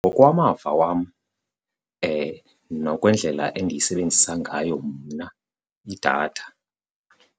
Ngokwamava wam nokwendlela endiyisebenzisa ngayo mna idatha